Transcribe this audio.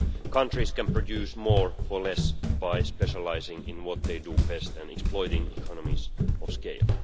Countries can produce more for less by specialising in what they do best and exploiting economies of scale.